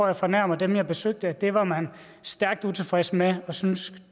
jeg fornærmer dem jeg besøgte at det var man stærkt utilfreds med og syntes